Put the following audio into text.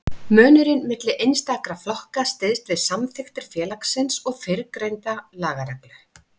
Munurinn milli einstakra flokka styðst við samþykktir félagsins og fyrrgreinda lagareglu.